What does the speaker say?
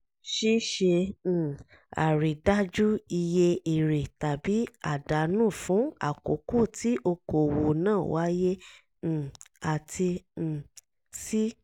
ṣíṣe um àrídájú iye èrè tàbí àdánù fún àkókò tí okoòwò náà wáyé; um àti um c)